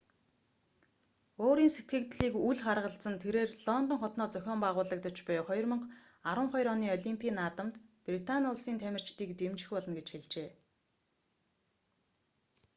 өөрийн сэтгэгдлийг үл харгалзан тэрээр лондон хотноо зохин байгуулагдаж буй 2012 оны олимпийн наадамд британи улсын тамирчдыг дэмжих болно гэж хэлжээ